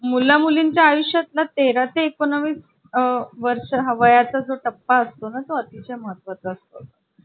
पाच रुंदी आणि सात असं लांबी असणार आहे तो छोटा होतोय आम्हाला म्हणून विकायचा आहे